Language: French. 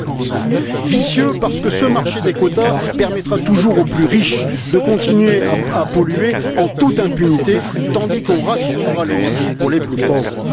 50 Vicieux parce que ce marché des quotas permettra toujours aux plus riches de continuer à polluer en toute impunité tandis qu'on rationnera l'énergie pour les plus pauvres.